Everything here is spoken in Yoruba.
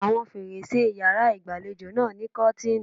Àwọn fèrèsé e yàrá ìgbàlejò náà ní kọ́tìnì.